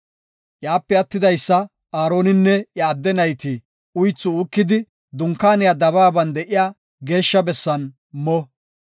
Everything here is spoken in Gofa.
Iyape attidaysa Aaroninne iya adde nayti uythi uukidi Dunkaaniya dabaaban de7iya geeshsha bessan mo.